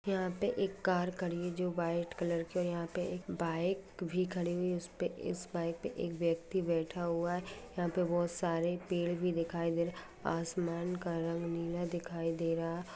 यहा पे एक कार है जो वाइट कलर की है एक बाइक है खडी है उ-असके पर एक वक्ती बता है यहा पर बहुत सरे पेड़ भि दिख रहा है आसमान का रंग नीला दिही दे रहा है।